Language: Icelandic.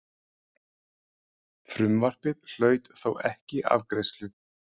Frumvarpið hlaut þó ekki afgreiðslu.